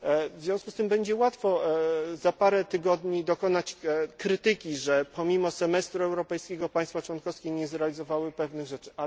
chwili. W związku z tym będzie łatwo za kilka tygodni dokonać krytyki, że pomimo semestru europejskiego państwa członkowskie nie zrealizowały pewnych